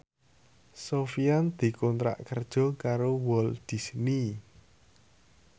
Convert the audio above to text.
Sofyan dikontrak kerja karo Walt Disney